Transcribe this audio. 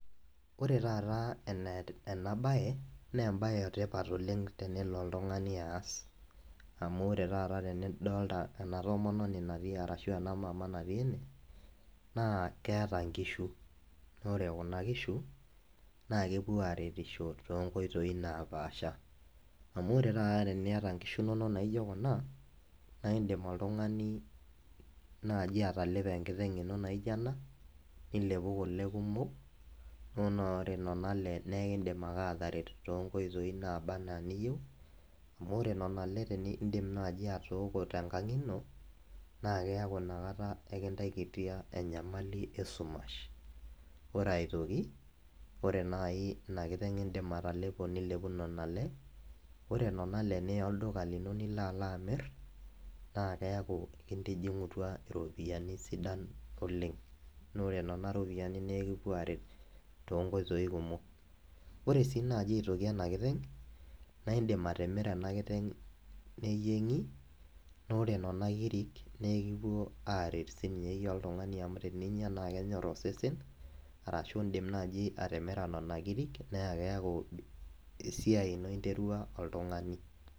ore taa ena bae naa emba e etipat oleng tenelo oltungai aas. amu ore taata tenidoolta ena toononi natii. arashu ena mama natii ene, naa keta nkishu. naa ore kuna kishu, naa kepuo aaretisho too nkoitoi napasha, amu ore tata teniata nkishu inonk naijo kuna. naa idim oltungani, naji atalepo enkiteng ino naijo ena, nilepu kule kumok. ore nena le ekidim ake aataret too nkoitoi naaba anaa iniyieu. amu ore nena le idim naaji atoooko tenkang ino, naa keeku ina kata ekintakitia enyamali esumash. ore aitoki ore ina kiteng idim atalepu kule. ore nena le niya olduka lenye nilo alo amir, naa keeku intijing'utua iropiyiani. sidan oleng. naa ore nena ropiyiani naa ekipuo aaret, too nkoitoi kumok. ore sii aitoki ena kiteng. naa idim atimira ena kiteng' neyieng'i. ore nena kirik naa ekipuo aaret sii niyie oltungani amu teninyia naa ekinyor osesen. arashu idim naaji atimira, nena kirik naa keeku esiai ino interua oltungani.